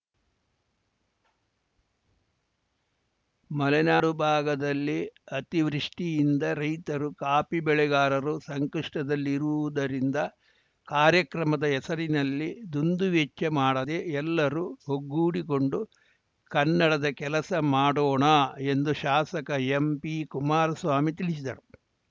ಮಲೆನಾಡು ಭಾಗದಲ್ಲಿ ಅತಿವೃಷ್ಟಿಯಿಂದ ರೈತರು ಕಾಫಿ ಬೆಳೆಗಾರರು ಸಂಕಷ್ಠದಲ್ಲಿರುವುದರಿಂದ ಕಾರ್ಯಕ್ರಮದ ಹೆಸರಿನಲ್ಲಿ ದುಂದುವೆಚ್ಚ ಮಾಡದೇ ಎಲ್ಲರೂ ಒಗ್ಗೂಡಿಕೊಂಡು ಕನ್ನಡದ ಕೆಲಸ ಮಾಡೋಣ ಎಂದು ಶಾಸಕ ಎಂಪಿ ಕುಮಾರಸ್ವಾಮಿ ತಿಳಿಸಿದರು